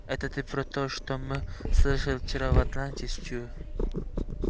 это ты про то что мы слышали вчера в атланте стю